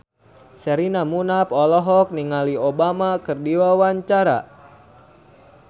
Sherina Munaf olohok ningali Obama keur diwawancara